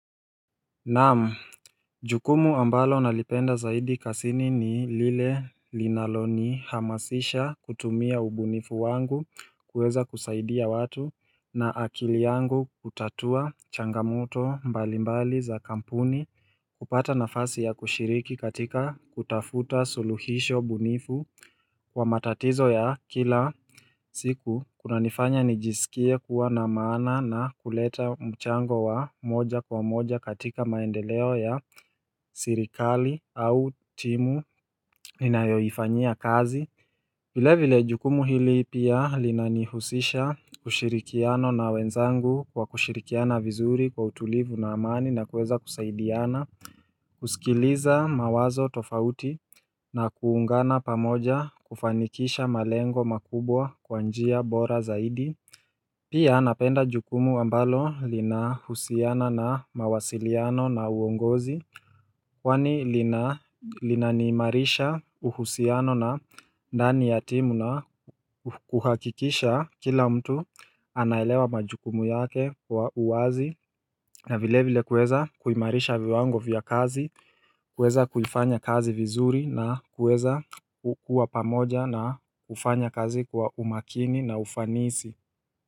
Naam, jukumu ambalo nalipenda zaidi kasini ni lile linalo nihamasisha kutumia ubunifu wangu kuweza kusaidia watu na akili yangu kutatua changamoto mbalimbali za kampuni kupata nafasi ya kushiriki katika kutafuta suluhisho bunifu kwa matatizo ya kila siku kunanifanya nijisikie kuwa na maana na kuleta mchango wa moja kwa moja katika maendeleo ya sirikali au timu inayoifanyia kazi vile vile jukumu hili pia linanihusisha ushirikiano na wenzangu kwa kushirikiana vizuri kwa utulivu na amani na kueza kusaidiana kusikiliza mawazo tofauti na kuungana pamoja kufanikisha malengo makubwa kwa njia bora zaidi Pia napenda jukumu ambalo linahusiana na mawasiliano na uongozi Kwani lina linaniimarisha uhusiano na dani ya timu na kuhakikisha kila mtu anaelewa majukumu yake kwa uwazi na vile vile kueza kuimarisha viwango vya kazi kuweza kuifanya kazi vizuri na kuweza kukua pamoja na kufanya kazi kwa umakini na ufanisi.